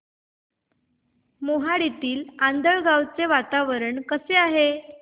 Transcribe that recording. मोहाडीतील आंधळगाव चे वातावरण कसे आहे